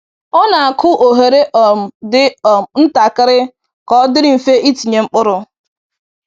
Ọ na-akụ oghere um dị um ntakịrị ka ọ dịrị mfe itinye mkpụrụ.